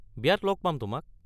বিয়াত লগ পাম তোমাক!